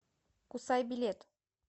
кусай билет